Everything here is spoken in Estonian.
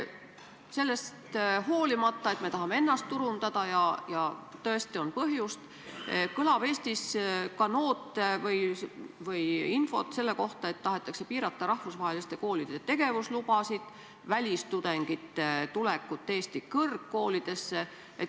Sellest hoolimata, et me tahame ennast turundada ja tõesti selleks on ka põhjust, on olnud infot, et tahetakse piirata rahvusvaheliste koolide tegevuslubasid, välistudengite tulekut Eesti kõrgkoolidesse.